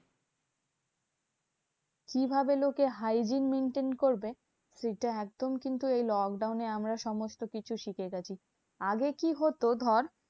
কিভাবে লোকে hygiene maintain করবে? সেইটা একদম কিন্তু এই lockdown এ আমরা সমস্তকিছু শিখে গেছি। আগে কি হতো ধর?